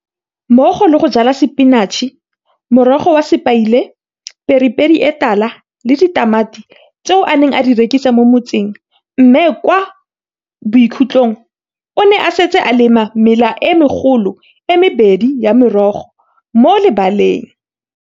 mmogo le go jala sepinatšhe, morogo wa sepaile, pepere e tala le ditamati, tseo a neng a di rekisa mo motseng, mme kwa bokhutlhong o ne a setse a lema mela e megolo e mebedi ya merogo mo lebaleng